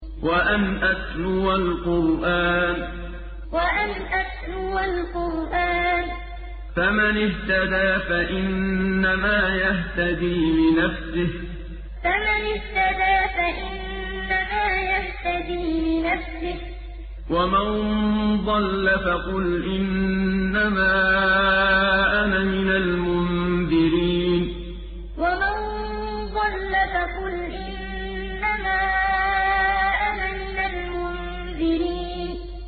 وَأَنْ أَتْلُوَ الْقُرْآنَ ۖ فَمَنِ اهْتَدَىٰ فَإِنَّمَا يَهْتَدِي لِنَفْسِهِ ۖ وَمَن ضَلَّ فَقُلْ إِنَّمَا أَنَا مِنَ الْمُنذِرِينَ وَأَنْ أَتْلُوَ الْقُرْآنَ ۖ فَمَنِ اهْتَدَىٰ فَإِنَّمَا يَهْتَدِي لِنَفْسِهِ ۖ وَمَن ضَلَّ فَقُلْ إِنَّمَا أَنَا مِنَ الْمُنذِرِينَ